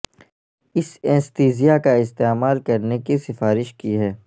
اس anaesthesia کا استعمال کرنے کی سفارش کی ہے